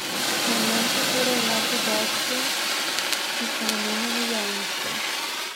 Na njem so torej le podatki, ki so namenjeni javnosti.